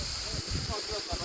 Su elə hamısını qırışdırır.